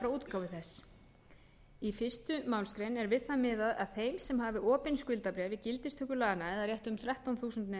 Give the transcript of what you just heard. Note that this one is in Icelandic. útgáfu þess í fyrstu málsgrein er við það miðað að þeim sem hafi opin skuldabréf við gildistöku laganna eða rétt um þrettán þúsund